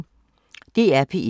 DR P1